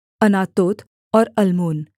Anathoth और Almon